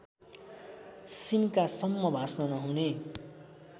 सिन्कासम्म भाँच्न नहुने